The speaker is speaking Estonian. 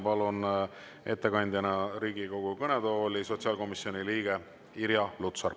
Palun ettekandeks Riigikogu kõnetooli sotsiaalkomisjoni liikme Irja Lutsari.